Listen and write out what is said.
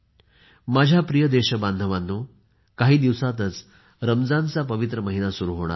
माझ्या प्रिय देशबांधवांनो काही दिवसातच रमजानचा पवित्र महिना सुरु होणार आहे